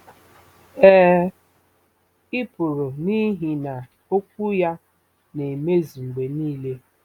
Ee, ị pụrụ n'ihi na Okwu ya na-emezu mgbe nile.